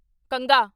ਕੰਘਾ